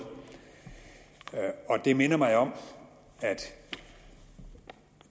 det minder mig om at